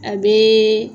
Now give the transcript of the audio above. A bɛ